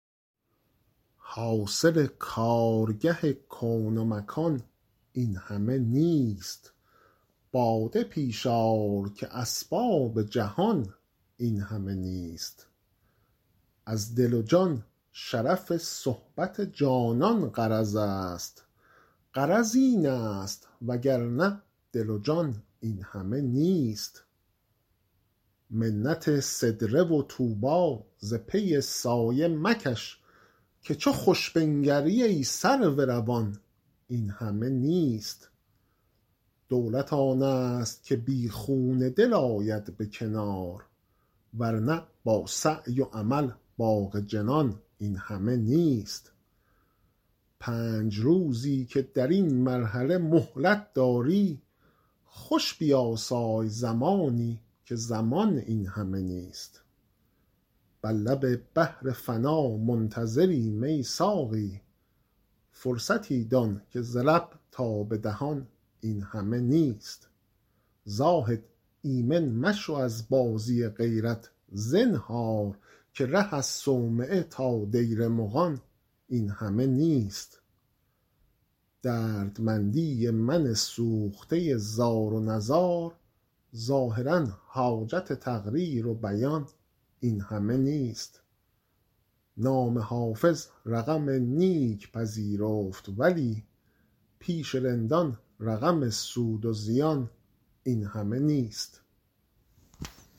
حاصل کارگه کون و مکان این همه نیست باده پیش آر که اسباب جهان این همه نیست از دل و جان شرف صحبت جانان غرض است غرض این است وگرنه دل و جان این همه نیست منت سدره و طوبی ز پی سایه مکش که چو خوش بنگری ای سرو روان این همه نیست دولت آن است که بی خون دل آید به کنار ور نه با سعی و عمل باغ جنان این همه نیست پنج روزی که در این مرحله مهلت داری خوش بیاسای زمانی که زمان این همه نیست بر لب بحر فنا منتظریم ای ساقی فرصتی دان که ز لب تا به دهان این همه نیست زاهد ایمن مشو از بازی غیرت زنهار که ره از صومعه تا دیر مغان این همه نیست دردمندی من سوخته زار و نزار ظاهرا حاجت تقریر و بیان این همه نیست نام حافظ رقم نیک پذیرفت ولی پیش رندان رقم سود و زیان این همه نیست